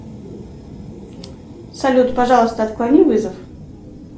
салют пожалуйста отклони вызов